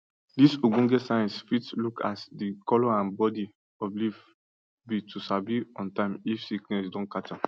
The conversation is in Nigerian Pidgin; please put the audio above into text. dis ogbonge science fit look as di color and bodi of leaf be to sabi on time if sickness don catch am